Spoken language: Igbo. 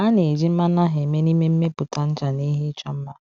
A na-eji mmanụ ahụ eme n’ime mmepụta ncha na ihe ịchọ mma.